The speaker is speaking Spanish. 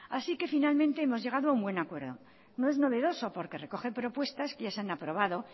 así que finalmente hemos llegado a un buen acuerdo no es novedoso porque recoge propuestas que ya se han aprobado